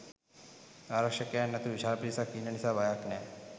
ආරක්ෂකයන් ඇතුළු විශාල පිරිසක් ඉන්න නිසා බයක් නැහැ.